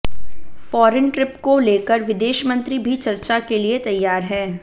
foreign trip को लेकर विदेश मंत्री भी चर्चा के लिए तैयार हैं